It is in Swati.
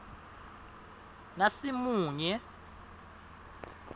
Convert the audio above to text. nasimunye